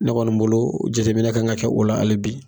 Ne kɔni bolo jatemina kan ka kɛ o la ali bi